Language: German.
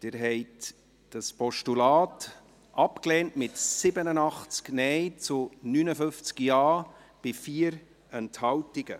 Sie haben dieses Postulat abgelehnt, mit 87 Nein- zu 59 Ja-Stimmen bei 4 Enthaltungen.